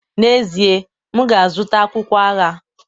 N'ezie, m ga-azụta akwụkwọ agha.